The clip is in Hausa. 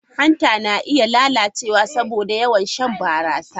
Hanta na iya lalacewa saboda yawan shan barasa.